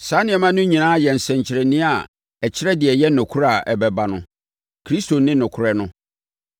Saa nneɛma no nyinaa yɛ nsɛnkyerɛnneɛ a ɛkyerɛ deɛ ɛyɛ nokorɛ a ɛbɛba no. Kristo ne nokorɛ no.